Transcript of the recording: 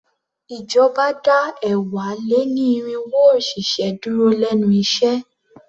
Ìjọba dá ẹ̀wá-lé-ní-irínwó òṣìṣẹ́ dúró lénu iṣẹ́.